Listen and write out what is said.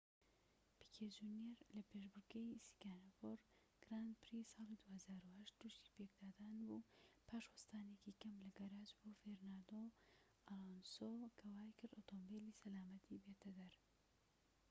پیکێ جونیەر لە پێشبڕكێی سینگاپۆر گراند پری-ساڵی ٢٠٠٨ توشی پێکدادان بوو پاش وەستانێکی کەم لە گەراج بۆ فێرناندۆ ئەلۆنسۆ کە وایکرد ئۆتۆمبیلی سەلامەتی بێتە دەر